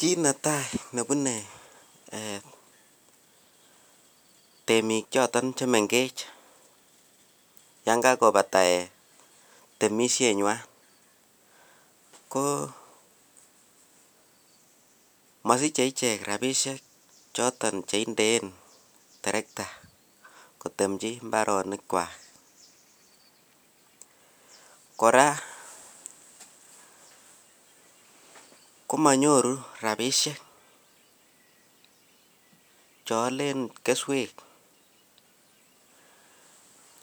Kiy netai nebune ee temik choton chemengech yon kakopata temisienywan ko mosiche ichek rabisiek choton cheindeen terekta kotemchi mbaronikwak. Kora komonyoru rabisiek cheolen keswek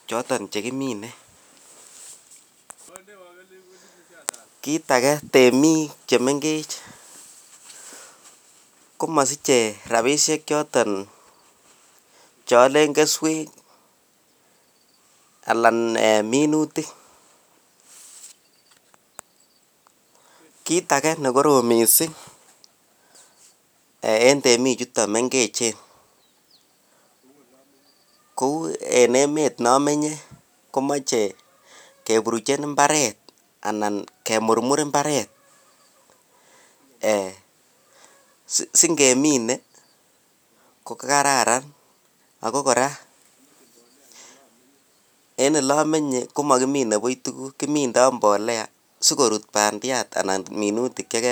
choton chekimine . Kit age temik chemengech komosiche rabisiechoton cheolen keswek alan ee minutik. Kit age nekorom missing' en temikchuton mengechen kou en emet neomenye komoche keburuchen mbaret anan kemurmur mbaret ee singemine kokararan ago kora en ilomenye komokimine buch tuguk kimindo mbolea sikorut bandiat anan ko minutik chege.